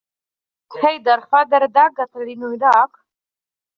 Heiðarr, hvað er á dagatalinu í dag?